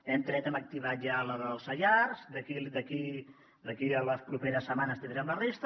hem tret hem activat ja la dels saiars d’aquí a les properes setmanes tindrem la resta